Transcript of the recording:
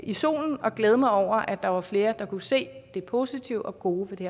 i solen og glæde mig over at der var flere her der kunne se det positive og gode ved det